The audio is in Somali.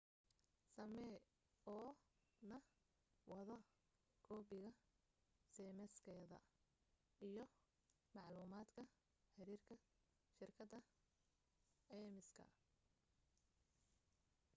samee oo na wado koobiga ceymiskaada iyo maclumaadka xiriirka shirkadda caymiska